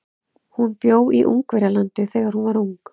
Hún bjó í Ungverjalandi þegar hún var ung.